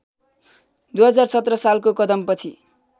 २०१७ सालको कदमपछि